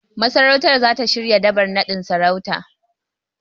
Masarautar zata shirya Dabar naɗin sarautar.